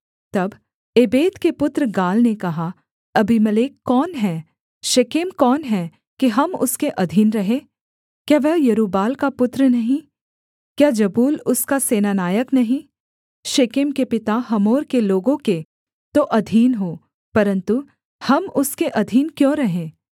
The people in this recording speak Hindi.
तब एबेद के पुत्र गाल ने कहा अबीमेलेक कौन है शेकेम कौन है कि हम उसके अधीन रहें क्या वह यरूब्बाल का पुत्र नहीं क्या जबूल उसका सेनानायक नहीं शेकेम के पिता हमोर के लोगों के तो अधीन हो परन्तु हम उसके अधीन क्यों रहें